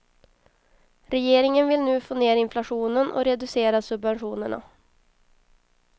Regeringen vill nu få ned inflationen och reducera subventionerna.